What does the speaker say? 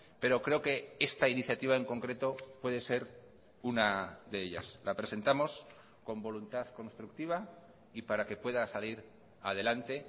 pero creo que esta iniciativa en concreto puede ser una de ellas la presentamos con voluntad constructiva y para que pueda salir adelante